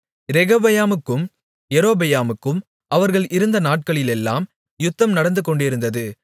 ரெகொபெயாமுக்கும் யெரொபெயாமுக்கும் அவர்கள் இருந்த நாட்களிலெல்லாம் யுத்தம் நடந்துகொண்டிருந்தது